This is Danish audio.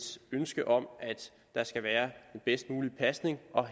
ønske om at der skal være den bedst mulige pasning og